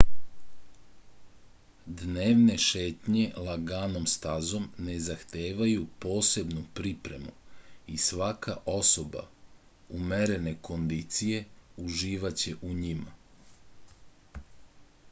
dnevne šetnje laganom stazom ne zahtevaju posebnu pripremu i svaka osoba umerene kondicije uživaće u njima